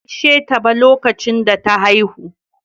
Bata gaisheta ba lokacin da ta haihu.